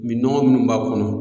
Minnɔgɔ minnu b'a kɔnɔ